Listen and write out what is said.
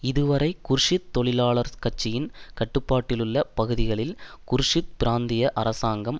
இதுவரை குர்திஷ் தொழிலாளர் கட்சியின் கட்டுப்பாட்டிலுள்ள பகுதிகளில் குர்திஷ் பிராந்திய அரசாங்கம்